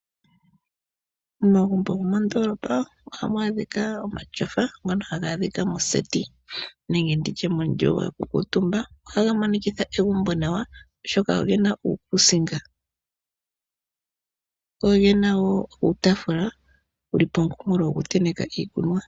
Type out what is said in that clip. Momagumbo gomoondoolopa ohamu adhika omatyofa, ngoka haga adhika moseti nenge mondunda yokukuutumba. Ohaga monikitha egumbo nawa, oshoka oge na uukusinga go oge na wo uutaafula wokutenteka iikunwa.